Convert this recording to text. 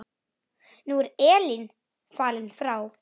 Nú er Elín fallin frá.